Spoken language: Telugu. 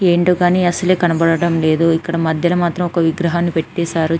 ఏంటో అని అస్సలు కనబడ్డం లేదు ఇక్కడ మధ్యలో విగ్రహాన్ని పెట్టేసారు --